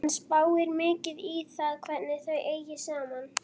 Hann spáir mikið í það hvernig þau eigi saman.